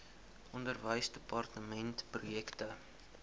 onderwysdepartementprojekte